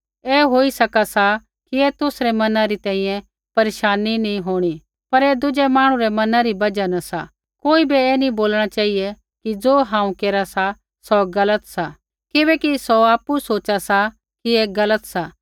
ऐ होई सका सा कि ऐ तुसरै मना री तैंईंयैं परेशानी नैंई होंणी पर ऐ दुज़ै मांहणु रै मना री बजहा न सा कोई बै ऐ नी बोलणा चेहिऐ कि ज़ो हांऊँ केरा सा सौ गलत सा किबैकि सौ आपु सोच़ा सा कि ऐ गलत सा